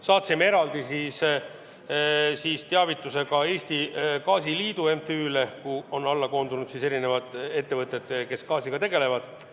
Saatsime eraldi teavituse ka Eesti Gaasiliidu MTÜ-le, kuhu on koondunud eri ettevõtjad, kes gaasiga tegelevad.